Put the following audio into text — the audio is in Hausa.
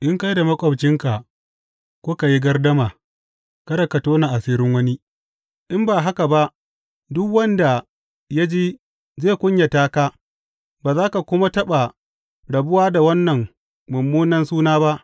In kai da maƙwabcinka kuka yi gardama, kada ka tona asirin wani, in ba haka ba duk wanda ya ji zai kunyata ka ba za ka kuma taɓa rabuwa da wannan mummuna suna ba.